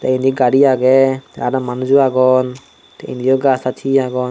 te endi gari aage te aro manuj o agon te endi o gaj taj he agon.